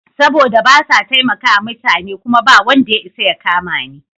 Saboda basa taimakawa mutane kuma bawanda ya isa ya kamani.